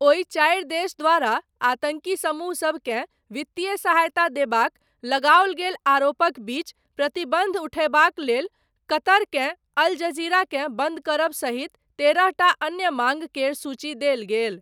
ओहि चारि देश द्वारा, आतन्की समूह सबकेँ वित्तीय सहायता देबाक, लगाओल गेल आरोपक बीच, प्रतिबन्ध उठयबाक लेल, कतरकेँ, अल जजीराकेँ बन्द करब सहित, तेरहटा अन्य माङ्ग केर सूची देल गेल।